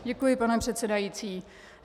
Děkuji, pane předsedající.